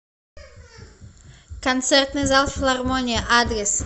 концертный зал филармонии адрес